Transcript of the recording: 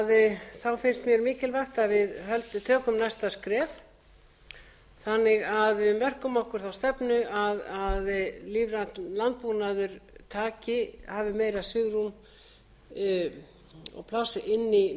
lífrænan landbúnað finnst mér mikilvægt að við tökum næsta skref þannig að við mörkum okkur þá stefnu að lífrænn landbúnaður hafi meira svigrúm og pláss inni í